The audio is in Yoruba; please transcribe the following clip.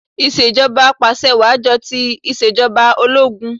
Ìṣèjọbà apàṣẹwàá jọ ti ìṣèjọba ológun